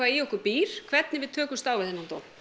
í okkur býr hvernig við tökumst á við þennan dóm